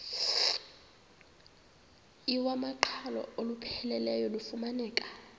iwamaqhalo olupheleleyo lufumaneka